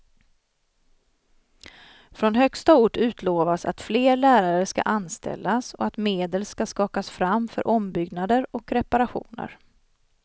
Från högsta ort utlovas att fler lärare ska anställas och att medel ska skakas fram för ombyggnader och reparationer.